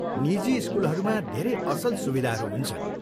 निजी स्कुलहरूमा धेरै असल सुविधाहरू हुन्छन्।